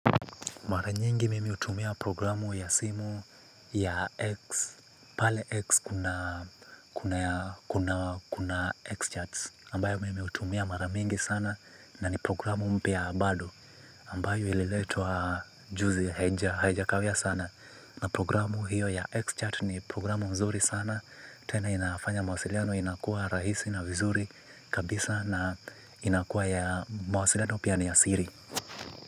Mara nyingi mimi hutumia programu ya simu ya X, pale X kuna kuna Xcharts ambayo mimi hutumia mara mingi sana na ni programu mpya bado ambayo ililetwa juzi haijakawia sana. Na programu hiyo ya xchart ni programu nzuri sana. Trna inafanya mawasiliano inakuwa rahisi na vizuri kabisa na inakuwa ya mawasiliano pia ni ya siri.